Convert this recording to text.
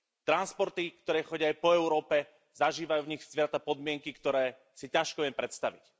Transporty, ktoré chodia aj po Európe, zažívajú v nich zvieratá podmienky, ktoré si ťažko viem predstaviť.